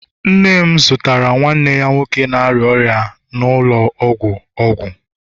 nne m zụtara nwanne ya nwoke na-arịa ọrịa nọ n'ụlọ ọgwụ, ọgwụ.